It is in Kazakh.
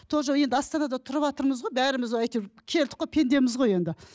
тоже енді астанада тұрыватырмыз ғой бәріміз әйтеуір келдік қой пендеміз ғой енді